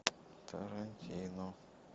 тарантино